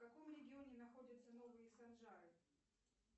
в каком регионе находятся новые санжары